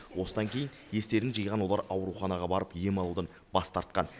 осыдан кейін естерін жиған олар ауруханаға барып ем алудан бас тартқан